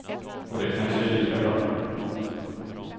Och det kanske är lika bra.